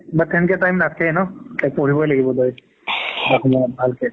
time নাথাকে ন পঢ়িবৈ লাগিব তই ভালকে